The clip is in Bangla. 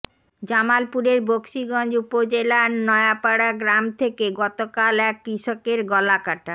জামালপুরের বকশীগঞ্জ উপজেলার নয়াপাড়া গ্রাম থেকে গতকাল এক কৃষকের গলাকাটা